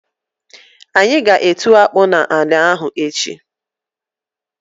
Anyi g'etu akpụ n'anị ahụ echi.